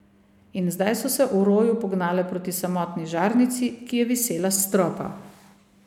In zdaj so se v roju pognale proti samotni žarnici, ki je visela s stropa.